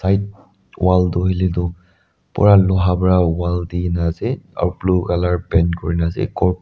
wall toh hoile toh pura loha para wall di na ase aro blue color paint kuri na ase ghor--